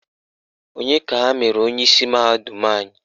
Onye ka ha mere onyeisi mahadum anyị?